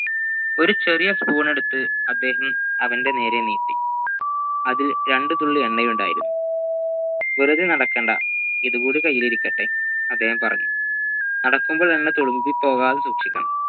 ഒരു ചെറിയ spoon എടുത്ത് അദ്ദേഹം അവൻ്റെ നേരെ നീട്ടി അതിൽ രണ്ട് തുള്ളി എണ്ണയുണ്ടായിരുന്നു വെറുതെ നടക്കേണ്ട ഇതു കൂടി കൈയിലിരിക്കെട്ടെ അദ്ദേഹം പറഞ്ഞു നടക്കുമ്പോൾ എന്ന തുളുമ്പി പോവാതെ സൂക്ഷിക്കണം